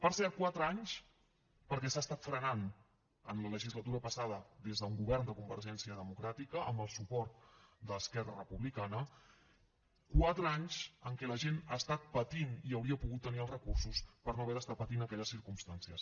per cert quatre anys perquè s’ha estat frenant en la legislatura passada des d’un govern de convergència democràtica amb el suport d’esquerra republicana quatre anys en què la gent ha estat patint i hauria pogut tenir els recursos per no haver d’estar patint aquelles circumstàncies